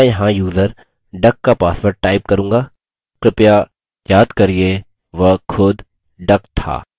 मैं यहाँ user duck का password type करूँगा कृपया याद करिये वह खुद duck था